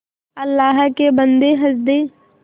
अल्लाह के बन्दे हंस दे